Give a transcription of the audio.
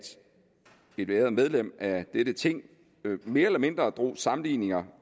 et æret medlem af dette ting mere eller mindre drog sammenligninger